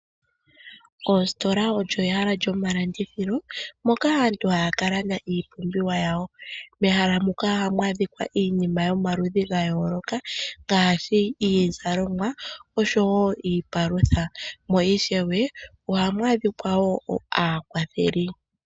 Oositola olyo ehala lyomalandithilo moka aantu haya ka landa iipumbiwa yawo. Mehala muka ohamu adhika iinima yomaludhi ga yooloka ngaashi iizalomwa osho wo iipalutha. Mo ishewe, ohamu adhika wo aakwatheli.